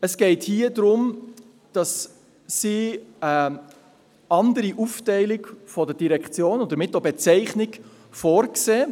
Es geht darum, dass sie eine andere Aufteilung der Direktionen und damit auch andere Bezeichnungen vorsehen.